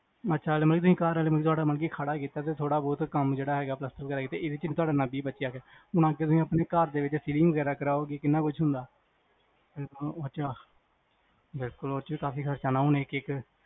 ਅੱਛਾ ਮਤਲਬ ਕੇ ਤੁਸੀ ਘਰ ਖੜ੍ਹਾ ਹੀ ਕੀਤਾ ਤੇ ਥੋੜ੍ਹਾ ਬਹੁਤ ਕੰਮ ਜਿਹੜਾ ਹੈਗਾ ਪਲਾਸਤਰ ਵਗੈਰਾ ਈ ਤੇ ਇਹਦੇ ਚ ਈ ਤੁਹਾਡਾ ਵੀਹ ਪੱਚੀ ਆ ਗਿਆ, ਮਨ ਕ ਤੁਸੀ ਆਪਣੇ ਘਰ ਦੇ ਵਿਚ ਸੀਲਿੰਗ ਵਗੈਰਾ ਕਰਾਓਗੇ ਕਿਹਨਾਂ ਕੁਜ ਹੁੰਦਾ, ਬਿਲਕੁਲ ਓਹਦੇ ਚ ਵੀ ਕਾਫੀ ਖਰਚਾ ਹੁਣ ਇਕ ਇਕ